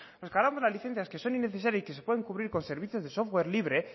nos cargamos las licencias que son innecesarias y que se pueden cubrir con servicios de software libre